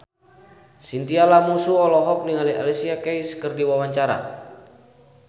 Chintya Lamusu olohok ningali Alicia Keys keur diwawancara